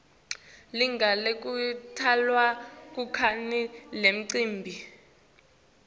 lilangalekutalwa kwakhe linemcimbi